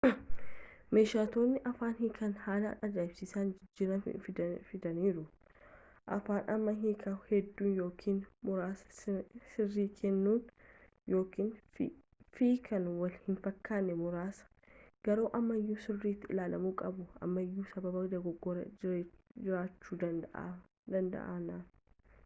meeshotni afaan hiikaan haala aja’ibsiisan jijjirama fiidaniiru fi amma hiikaa hedduu yookiin muraasa sirrii kennuu fi kan wal hin fakkane muraasa garuu ammayu sirritti ilaalamu qabu ammayuu sababa dogogora jiraachu danda’aniif